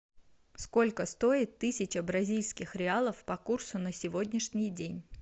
сколько стоит тысяча бразильских реалов по курсу на сегодняшний день